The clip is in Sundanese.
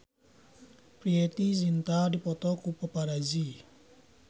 Preity Zinta dipoto ku paparazi